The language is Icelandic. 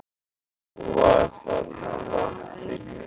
En hún var þarna á vappinu.